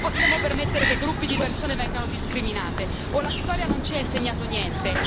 Non possiamo permettere che gruppi di persone vengano discriminate o la storia non ci ha insegnato niente?